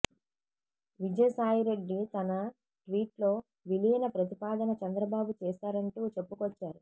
విజయ సాయిరెడ్డి తన ట్వీట్లో విలీన ప్రతిపాదన చంద్రబాబు చేసారంటూ చెప్పుకొచ్చారు